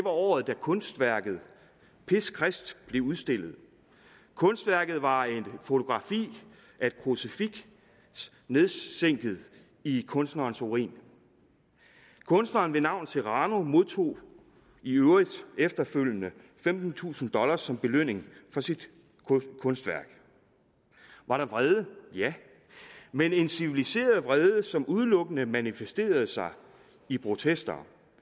året da kunstværket piss christ blev udstillet kunstværket var et fotografi af et krucifiks nedsænket i kunstnerens urin kunstneren ved navn serrano modtog i øvrigt efterfølgende femtentusind dollar som belønning for sit kunstværk var der vrede ja men en civiliseret vrede som udelukkende manifesterede sig i protester